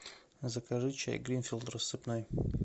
закажи чай гринфилд рассыпной